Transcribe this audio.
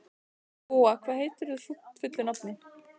Gúa, hvað heitir þú fullu nafni?